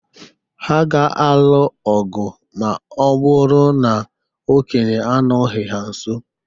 Ha ga-alụ ọ̀gwù ma ọ bụrụ na okenye anọghị ha nso.